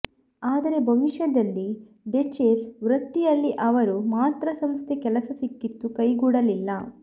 ಆದರೆ ಭವಿಷ್ಯದಲ್ಲಿ ಡಚೆಸ್ ವೃತ್ತಿಯಲ್ಲಿ ಅವರು ಮಾತೃ ಸಂಸ್ಥೆ ಕೆಲಸ ಸಿಕ್ಕಿತು ಕೈಗೂಡಲಿಲ್ಲ